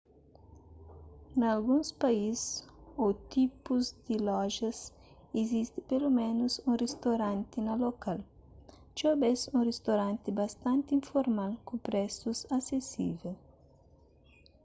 na alguns país ô tipus di lojas izisti peloménus un ristoranti na lokal txeu bês un ristoranti bastanti informal ku presus asesível